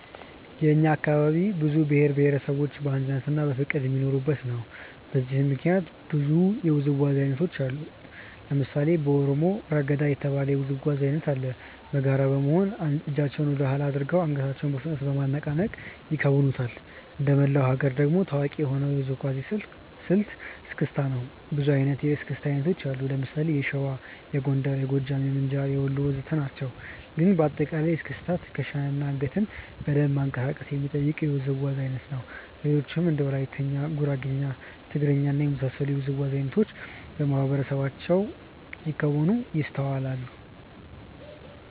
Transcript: የእኛ አካባቢ ብዙ ብሄር እና ብሄረሰቦች በአንድነትና በፍቅር የሚኖሩበት ነው። በዚህም ምክንያት ብዙ የውዝዋዜ አይነቶችን አያለሁ። ለምሳሌ ከኦሮሞ "ረገዳ" የተባለ የውዝዋዜ አይነት አለ። በጋራ በመሆን እጃቸውን ወደኋላ አድርገው አንገታቸውን በፍጥነት በማነቃነቅ ይከውኑታል። እንደመላው ሀገር ደግሞ ታዋቂ የሆነው የውዝዋዜ ስልት "እስክስታ" ነው። ብዙ አይነት የእስክስታ አይነት አለ። ለምሳሌ የሸዋ፣ የጎንደር፣ የጎጃም፣ የምንጃር፣ የወሎ ወዘተ ናቸው። ግን በአጠቃላይ እስክስታ ትከሻን እና አንገትን በደንብ ማንቀሳቀስ የሚጠይቅ የውዝዋዜ አይነት ነው። ሌሎችም እንደ ወላይትኛ፣ ጉራግኛ፣ ትግርኛ እና የመሳሰሉት የውዝዋዜ አይነቶች በማህበረሰባችን ሲከወኑ ይስተዋላል።